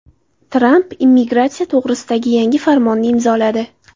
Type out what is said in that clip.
Tramp immigratsiya to‘g‘risidagi yangi farmonni imzoladi.